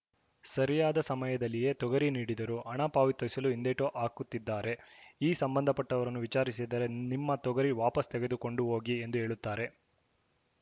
ಸರಿಯಾದ ಸಮಯದಲ್ಲಿಯೇ ತೊಗರಿ ನೀಡಿದರು ಹಣ ಪಾವತಿಸಲು ಹಿಂದೇಟು ಹಾಕುತ್ತಿದ್ದಾರೆ ಈ ಸಂಬಂಧಪಟ್ಟವರನ್ನು ವಿಚಾರಿಸಿದರೆ ನಿಮ್ಮ ತೊಗರಿ ವಾಪಸ್‌ ತೆಗೆದುಕೊಂಡು ಹೋಗಿ ಎಂದು ಹೇಳುತ್ತಾರೆ